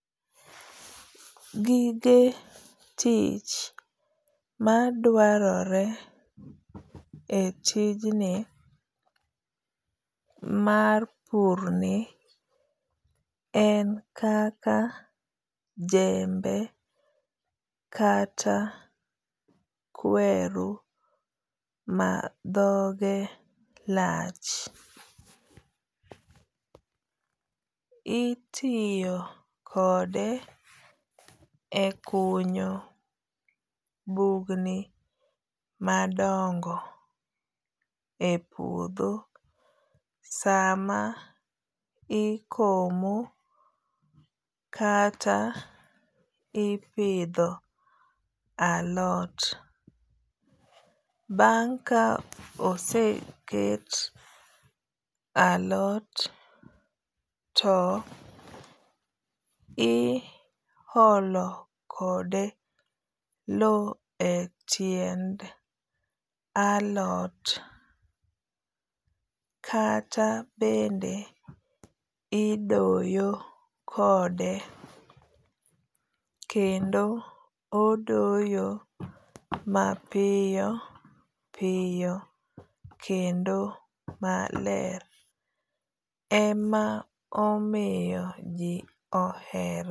Gige tich madwarore e tijni mar pur ni en kaka jembe kata kweru ma dhoge lach. Itiyo kode e kunyo bugni madongo e puodho sama ikomo kata ipidho alot. Bang' ka oseket alot to i olo kode low e tiend alot. Kata bende idoyo kode. Kendo odoyo mapiyo piyo kendo maler. Ema omiyo ji ohere.